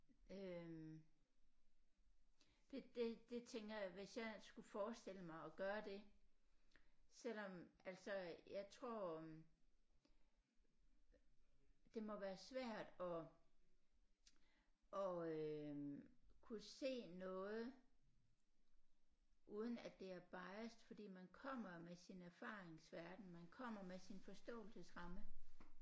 Øh det det det tænker jeg hvis jeg skulle forestille mig at gøre det selvom at så jeg tror det må være svært at at øh kunne se noget uden at det er biased fordi man kommer med sin erfaringsverden man kommer med sin forståelsesramme